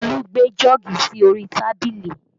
Olu gbé jọ́ọ̀gì sí orí tábìlì